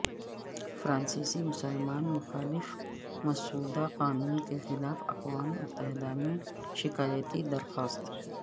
فرانسیسی مسلمان مخالف مسودہ قانون کے خلاف اقوام متحدہ میں شکایتی درخواست